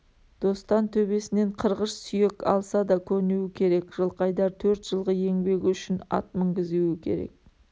достан төбесінен қырғыш сүйек алса да көнуі керек жылқайдар төрт жылғы еңбегі үшін ат мінгізуі керек